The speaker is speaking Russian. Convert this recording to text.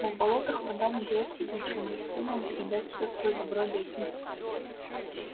но в болотах вода не даёт родителям-растениям передать всё своё добро детям